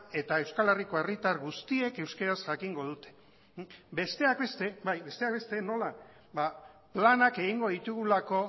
eta euskal herriko herritar guztiek euskara jakingo dute besteak beste nola planak egingo ditugulako